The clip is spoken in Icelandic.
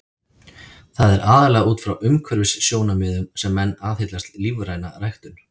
Það er aðallega út frá umhverfissjónarmiðum sem menn aðhyllast lífræna ræktun.